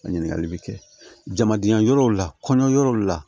Ɲininkali bɛ kɛ jamadenya yɔrɔw la kɔɲɔ yɔrɔw la